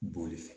Boli fɛ